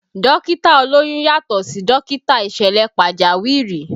Dókítà olóyún yàtọ̀ sí dókítà ìṣẹ̀lẹ̀ pàjáwìrì